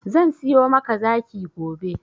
Zan siyo maka zaki gobe.